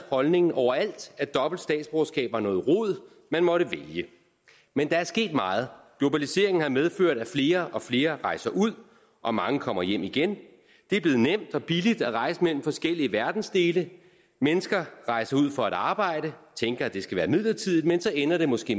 holdningen overalt at dobbelt statsborgerskab var noget rod man måtte vælge men der er sket meget globaliseringen har medført at flere og flere rejser ud og mange kommer hjem igen det er blevet nemt og billigt at rejse mellem forskellige verdensdele mennesker rejser ud for at arbejde tænker at det skal være midlertidigt men så ender det måske